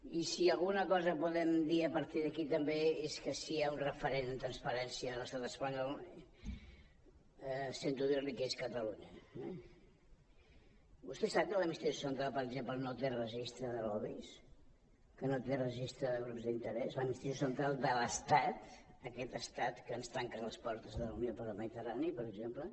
i si alguna cosa podem dir a partir d’aquí també és que si hi ha un referent en transparència a l’estat espanyol sento dir li que és catalunya eh vostè sap que l’administració central per exemple no té registre de lobbys que no té registre del grups d’interès l’administració central de l’estat aquest estat que ens tanca les portes de la unió per la mediterrània per exemple